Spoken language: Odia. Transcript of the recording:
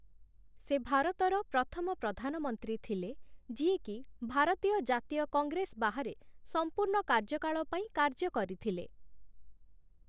ସେ ଭାରତର ପ୍ରଥମ ପ୍ରଧାନମନ୍ତ୍ରୀ ଥିଲେ, ଯିଏକି ଭାରତୀୟ ଜାତୀୟ କଂଗ୍ରେସ ବାହାରେ ସମ୍ପୂର୍ଣ୍ଣ କାର୍ଯ୍ୟକାଳ ପାଇଁ କାର୍ଯ୍ୟ କରିଥିଲେ ।